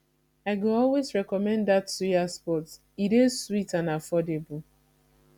i go always recommend dat suya spot e dey sweet and affordable